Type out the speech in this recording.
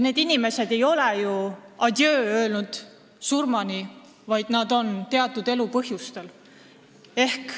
Need inimesed ei ole ju Eestile adjöö öelnud oma surmani, nad on eemal teatud elulistel põhjustel.